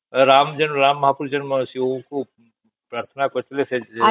ରାମ ଜଣ ରାମ ମହାପୁରୁଷ ଜଣେ ପ୍ରାଥନା କରିଥିଲେ